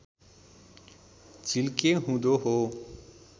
झिल्के हुँदो हो